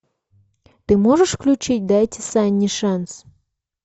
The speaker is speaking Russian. ты можешь включить дайте санни шанс